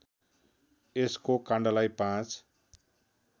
यसको काण्डलाई ५